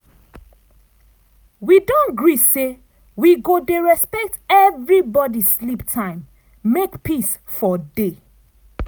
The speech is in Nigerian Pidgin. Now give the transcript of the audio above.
wi don agree say we go dey respect everi body sleep time make peace for dey.